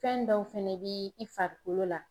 Fɛn dɔw fɛnɛ bɛ i farikolo la.